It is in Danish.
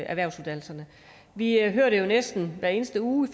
erhvervsuddannelserne vi hører jo næsten hver eneste uge